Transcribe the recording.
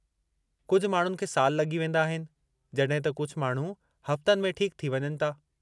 कुझु माण्हुनि खे साल लॻी वेंदा आहिनि जड॒हिं त कुझु माण्हू हफ़्तनि में ठीकु थी वञनि था।